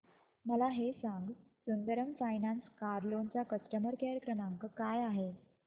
मला हे सांग सुंदरम फायनान्स कार लोन चा कस्टमर केअर क्रमांक काय आहे